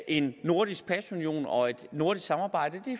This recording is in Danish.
en nordisk pasunion og et nordisk samarbejde